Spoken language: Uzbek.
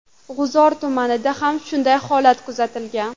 G‘uzor tumanida ham shunday holat kuzatilgan.